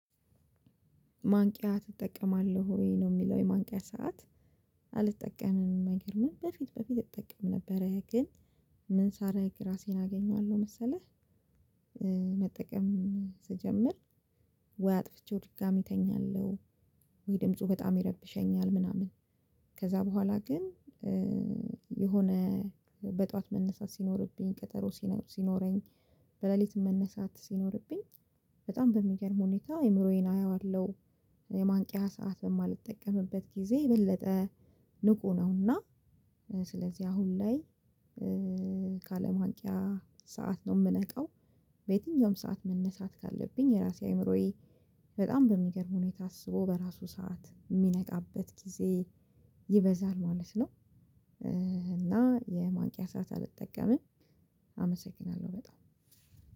ማንቂያ ትጠቀማለህ ወይ ነው የሚለው የማንቂያ ሰዓት? አልጠቀምም አይገርምም በፊት በፊት እጠቀም ነበረ ግን ምን ሳረግ ራሴን አገኘዋለሁ መሰለህ። መጠቀም ስጀምር ወይ አጥፍቼው ድጋሚ እተኛለሁ ወይ ድምፁ በጣም ይረብሸኛል ምናምን። ከዛ በኋላ ግን የሆነ በጧት መነሳት ሲኖርብኝ ቀጠሮ ሲኖር ሲኖረኝ በሌሊት መነሳት ሲኖርብኝ በጣም በሚገርም ሁኔታ አይምሮዬን አየዋለሁ። የማንቂያ ሰዓት በማልጠቀምበት ጊዜ የበለጠ ንቁ ነው። እና ስለዚህ አሁን ላይ ካለማንቂያ ሰዓት ነው የምነቃው። በየትኛውም ሰዓት መነሳት ካለብኝ የራሴ አይምሮዬ በጣም በሚገርም ሁኔታ አስቦ በራሱ ሰዓት የሚነቃበት ጊዜ ይበዛል ማለት ነው። እና የማንቂያ ስዓት አልጠቀምም። አመሰግናለሁ በጣም።